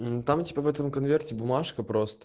там типа в этом конверте бумажка просто